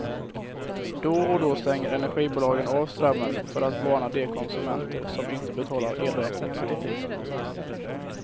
Då och då stänger energibolagen av strömmen för att varna de konsumenter som inte betalar elräkningarna i tid.